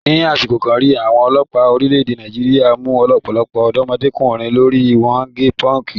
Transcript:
Ni àsìkò kan rí, àwọn ọlọ́pàá orílẹ̀-èdè Nàìjíríà mú ọ̀pọ̀lọpọ̀ ọ̀dọ́mọdékùnrin torí wọ́n gẹ pọ́ǹkì.